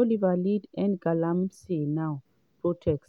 oliver lead #endgalamseynow protest